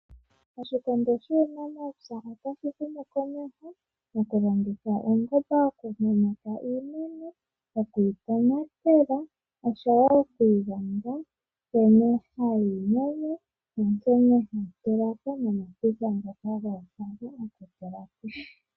Oshikondo shuunamapya otashi humu komeho mokulongitha uungomba okumunitha iimeno, okuyi tonatela osho wo oku ilonga nkene hayi munwa nonkene hayi tulako .